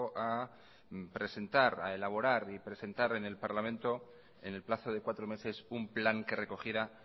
a elaborar y presentar en el parlamento en el plazo de cuatro meses un plan que recogiera